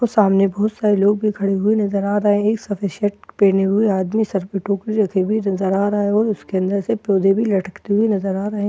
और सामने बहुत सारे लोग भी खड़े हुए नज़र आ रहे है एक सफ़ेद क शर्ट पहने हुए आदमी सर पे टोपी रखे हुए नज़र आ रहा है और उसके अंदर से पौधे भी लटकते हुए नज़र आ रहे है ।